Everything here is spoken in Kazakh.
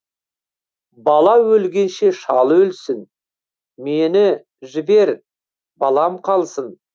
бала өлгенше шал өлсін мені жібер балам қалсын